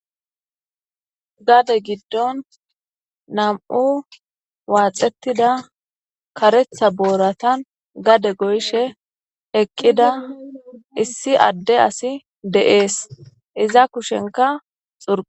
Gade giddon nam'u waaxetida kareththa booratan gade goyishe eqqida issi adde asi de'es iza kushenka xurq...